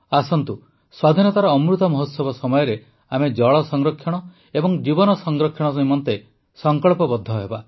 ଆସନ୍ତୁ ସ୍ୱାଧୀନତାର ଅମୃତ ମହୋତ୍ସବ ସମୟରେ ଆମେ ଜଳ ସଂରକ୍ଷଣ ଏବଂ ଜୀବନ ସଂରକ୍ଷଣ ନିମନ୍ତେ ସଂକଳ୍ପବଦ୍ଧ ହେବା